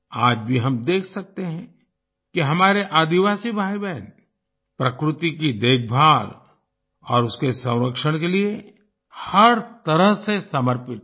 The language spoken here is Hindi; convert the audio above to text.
आज भी हम देख सकते हैं कि हमारे आदिवासी भाईबहन प्रकृति की देखभाल और उसके संरक्षण के लिए हर तरह से समर्पित हैं